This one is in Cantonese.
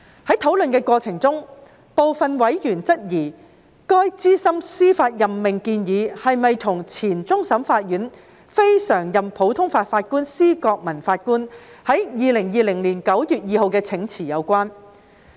在討論的過程中，部分委員質疑該資深司法任命建議是否與前終審法院非常任普通法法官施覺民法官在2020年9月2日的請辭有關。